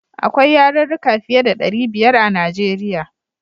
Akwai yarurruka fiye da ɗari biyar a Nijeriya.